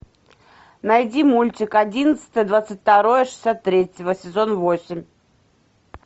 найди мультик одиннадцатое двадцать второе шестьдесят третьего сезон восемь